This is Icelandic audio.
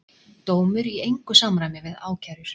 Dómur í engu samræmi við ákærur